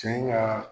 Cɛ in ka